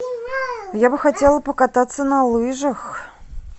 я бы хотела покататься на лыжах